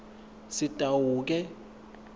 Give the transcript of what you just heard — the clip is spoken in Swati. sitawuke